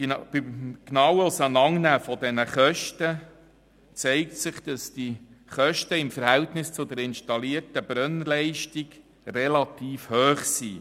Beim genauen Auseinandernehmen der Kosten zeigt sich, dass diese im Verhältnis zur installierten Brennleistung relativ hoch sind.